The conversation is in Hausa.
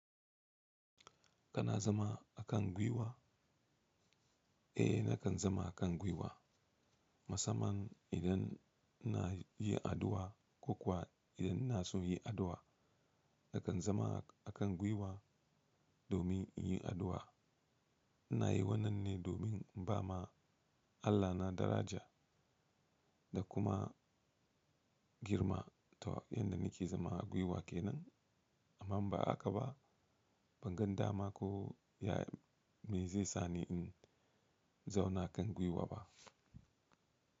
Kana zama a kan gwiwa? Eh nakan zama a kan gwiwa. Musamman idan ina yi addu'a ko kuwa idan ina son yi addu'a, nakan zama a kan gwiwa domin in yi addu'a. Na yi wannan ne domin inba ma Allahna daraja da kuma girma ta yadda nake zama a gwiwa ke nan. Amma ba haka ba, ban gan dama ko ya me zai sani in zauna kan gwiwa ba.